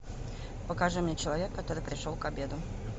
покажи мне человек который пришел к обеду